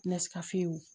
Nasi ka fin wo